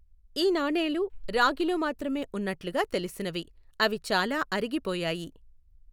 ఈ నాణేలు రాగిలో మాత్రమే ఉన్నట్లుగా తెలిసినవి, అవి చాలా అరిగిపోయాయి.